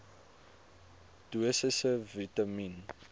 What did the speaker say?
dosisse vitamien